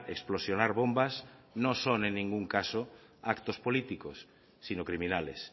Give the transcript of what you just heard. explosionar bombas no son en ningún caso actos políticos sino criminales